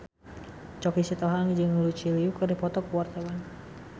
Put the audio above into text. Choky Sitohang jeung Lucy Liu keur dipoto ku wartawan